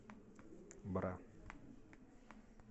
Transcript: бра